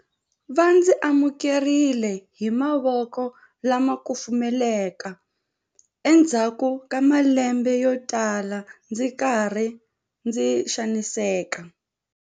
Va ndzi amukerile hi mavoko lama kufumelaka endzhaku ka malembe yotala ndzi ri karhi ndzi xaniseka.